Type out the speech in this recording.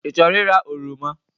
I chọrọ ịra oroma?